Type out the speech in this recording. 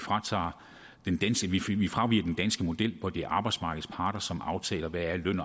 fraviger den danske model hvor det er arbejdsmarkedets parter som aftaler hvad løn